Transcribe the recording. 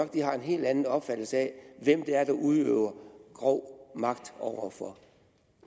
de har en helt anden opfattelse af hvem det er der udøver grov magt over for